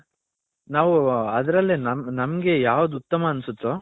ನಾವು ಅದರಲ್ಲೇ ನಮ್ಮಗೆ ಯಾವ್ದು ಉತ್ತಮ ಅನ್ಸುತ್ಹೋ.